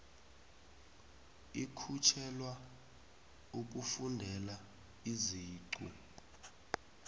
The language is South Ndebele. ikhutjhelwa ukufundela iziqu